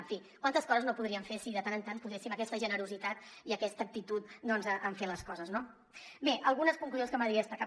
en fi quantes coses no podríem fer si de tant en tant poséssim aquesta generositat i aquesta actitud en fer les coses no bé algunes conclusions que m’agradaria destacar